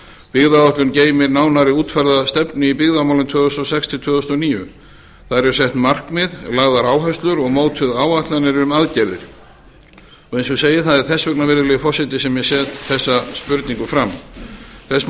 byggðaáætlun geymir nánar útfærða stefnu í byggðamálum tvö þúsund og sex til tvö þúsund og níu þar eru sett markmið lagðar áherslur og mótaðar áætlanir um aðgerðir eins og ég segi það er þess vegna virðulegi forseti sem ég set þessa spurningu fram þess má